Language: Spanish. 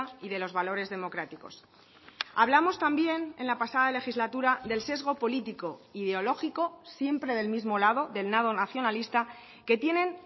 y de los valores democráticos hablamos también en la pasada legislatura del sesgo político ideológico siempre del mismo lado del lado nacionalista que tienen